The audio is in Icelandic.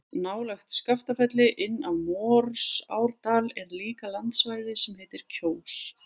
Nálægt Skaftafelli, inn af Morsárdal er líka landsvæði sem heitir Kjós.